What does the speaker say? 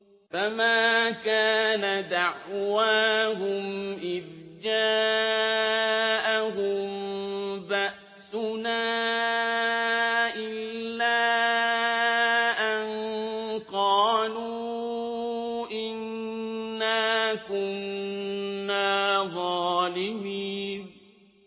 فَمَا كَانَ دَعْوَاهُمْ إِذْ جَاءَهُم بَأْسُنَا إِلَّا أَن قَالُوا إِنَّا كُنَّا ظَالِمِينَ